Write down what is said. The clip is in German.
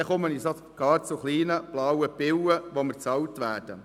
Dann komme ich sogar zu kleinen blauen Pillen, die mir bezahlt werden.